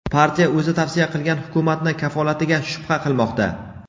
partiya o‘zi tavsiya qilgan Hukumatni kafolatiga shubha qilmoqda.